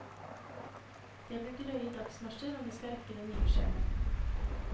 Det blir drøye dagsmarsjer om de skal rekke det nye skjemaet.